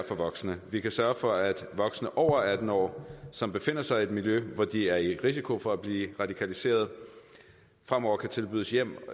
for voksne vi kan sørge for at voksne over atten år som befinder sig i et miljø hvor de er i risiko for at blive radikaliseret fremover kan tilbydes